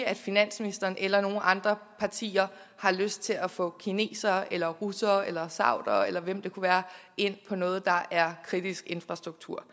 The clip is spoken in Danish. at finansministeren eller nogen af de andre partier har lyst til at få kinesere eller russere eller saudiere eller hvem det kunne være ind i noget der er kritisk infrastruktur